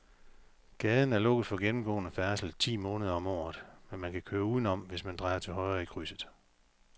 Gaden er lukket for gennemgående færdsel ti måneder om året, men man kan køre udenom, hvis man drejer til højre i krydset.